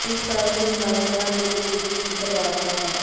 ਇਸ ਸਾਲ ਕਿਮ ਨਾਲ ਉੁਨ੍ਹਾਂ ਦੀ ਇਹ ਤੀਜੀ ਸਿਖਰ ਵਾਰਤਾ ਹੈ